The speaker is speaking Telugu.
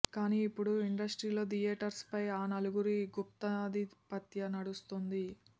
కానీ ఇప్పుడు ఇండస్ట్రీలో థియేటర్స్ పై ఆ నలుగురి గుప్తాధిపత్య నడుస్తోంది